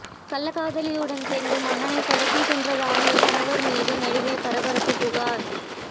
கள்ளக்காதலியுடன் சேர்ந்து மகனை கடத்திச் சென்றதாக கணவர் மீது நடிகை பரபரப்பு புகார்